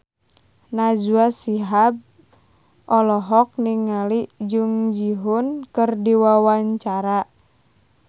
Najwa Shihab olohok ningali Jung Ji Hoon keur diwawancara